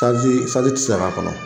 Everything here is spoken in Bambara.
Kasi esansi tɛ se ka k'a kɔnɔ.